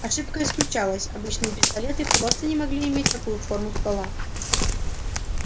ошибка исключалась обычные пистолеты просто не могли иметь такую форму ствола